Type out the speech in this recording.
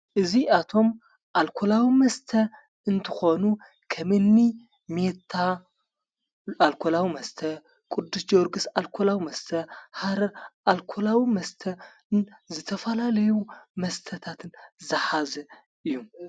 እዚኣቶም ኣልኮላዊ መስተ እንትኾኑ ኸምኒ ሜታ ኣልኮላው መስተ ፣ቅዱስ ጀወርግሥ፣ ኣልኮላዊ መስተ ሃረር ኣልኮላዊ መስተን ዘተፈላለይ መስተታትን ዝሓዘ እዩ።